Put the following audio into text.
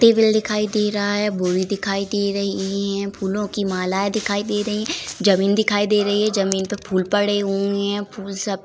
Table दिखाई दे रहा है। बोरी दिखाई दे रही है। फूलों की मालाएं दिखाई दे रही है। जमीन दिखाई दे रही है। जमीन पे फूल पड़े हुए है। फूल सफेद --